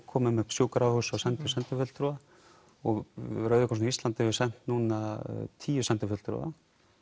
komum upp sjúkrahúsum og sendum sendifulltrúa og Rauði krossinn á Íslandi hefur sent núna tíu sendifulltrúa